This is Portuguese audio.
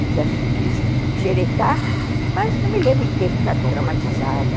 Quis xeretar, mas não me lembro de ter ficado traumatizada.